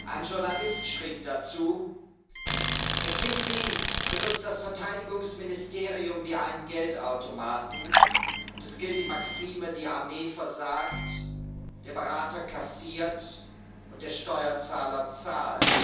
Ein Journalist schrieb dazu McKinsey benutzt das Verteidigungsministerium wie einen Geldautomaten, und es gilt die Maxime ,Die Armee versagt, der Berater kassiert, und der Steuerzahler zahlt.